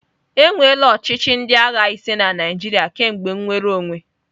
Enweela ochịchị ndị agha ise na Naịjirịa kemgbe nnwere onwe.